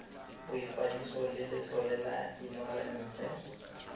boikwadiso le letlole la inorense